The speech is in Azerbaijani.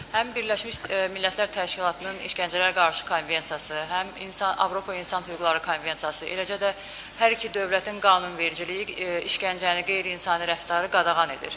Həm Birləşmiş Millətlər Təşkilatının İşgəncələr Əleyhinə Konvensiyası, həm Avropa İnsan Hüquqları Konvensiyası, eləcə də hər iki dövlətin qanunvericiliyi işgəncəni, qeyri-insani rəftarı qadağan edir.